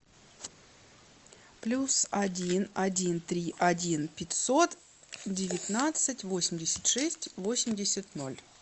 плюс один один три один пятьсот девятнадцать восемьдесят шесть восемьдесят ноль